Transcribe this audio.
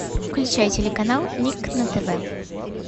включай телеканал ник на тв